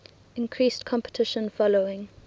increased competition following